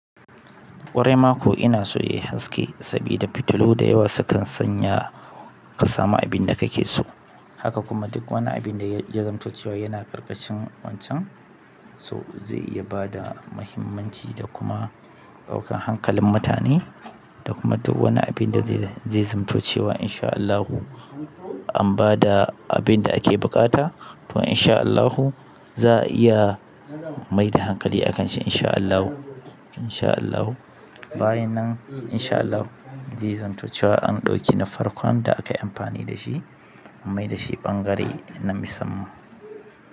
Ƙwarai mako ina so ya yi haske sabida fitilu da yawa sukan sanya ka samu abin da kake so. Haka kuma duk wani abin da ya zamto cewa yana ƙarƙashin wancan. So zai iya bada muhimmanci da kuma ɗaukan hankalin mutane da kuma duk wani abin da zai zamto cewa insha Allahu an bada abin da ake buƙata to insha Allahu za a iya maida hankali a kan shi insha Allahu, insha Allahu. Bayan nan insha Allahu zai zamto cewa an ɗauki na farkon da akayi amfani da shi an maida shi ɓangare na musamman.